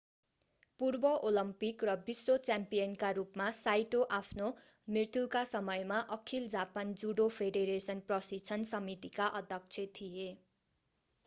पूर्व ओलम्पिक र विश्व च्याम्पियनका रूपमा साइटो आफ्नो मृत्युका समयमा अखिल जापान जुडो फेडरेशन प्रशिक्षण समितिका अध्यक्ष थिए